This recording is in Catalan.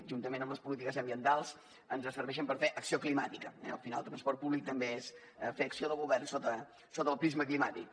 juntament amb les polítiques ambientals ens serveixen per fer acció climàtica eh al final el transport públic també és fer acció de govern sota el prisma climàtic